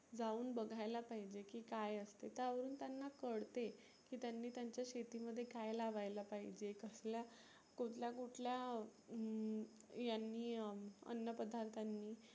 जाऊन बघायला पाहिजे. की काय असते त्या वरुन त्याना कळते. की त्यांनी त्याच्या शेती मध्ये काय लावायला पाहीजे, कसल्या कुठल्या कुठल्या हम्म यांनी अं अन्न पदार्थांनी